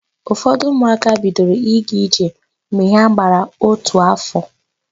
Ụfọdụ ụmụaka bidoro ịga ije mgbe ha gbara ótù áfọ̀.